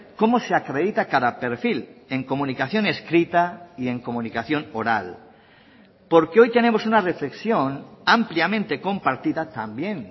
cómo se acredita cada perfil en comunicación escrita y en comunicación oral porque hoy tenemos una reflexión ampliamente compartida también